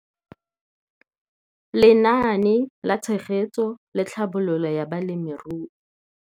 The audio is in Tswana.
Lenaane la Tshegetso le Tlhabololo ya Balemirui.